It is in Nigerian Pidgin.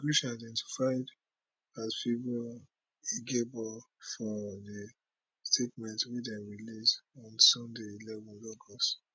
immigration identified as favour igiebor for dia statement wey dem release on sunday eleven august